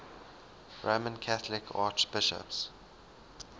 roman catholic archbishops